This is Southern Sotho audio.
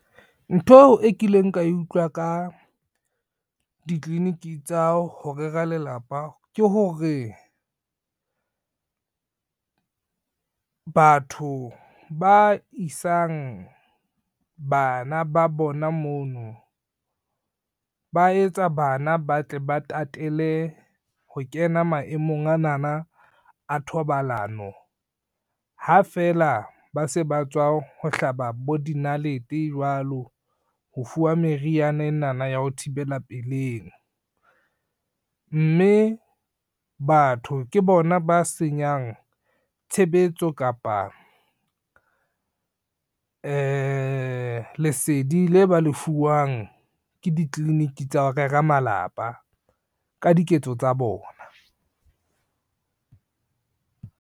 Ntho e kileng ka e utlwa ka ditliliniki tsa ho rera lelapa ke hore, batho ba isang bana ba bona mono ba etsa bana ba tle ba tatele ho kena maemong anana a thobalano. Ha feela ba se ba tswa ho hlaba bo dinalete jwalo ho fuwa meriana enana ya ho thibela peleng, mme batho ke bona ba senyang tshebetso kapa lesedi le ba lefuwang ke ditliliniki tsa ho rera malapa ka diketso tsa bona.